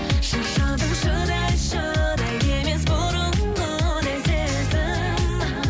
шаршадым шыдай шыдай емес бұрынғыдай сезім